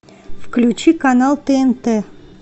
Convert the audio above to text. включи канал тнт